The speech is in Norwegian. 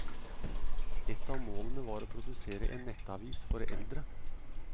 Ett av målene var å produsere en nettavis for eldre.